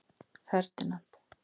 Ferdinand